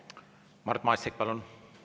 Mart Maastik, palun!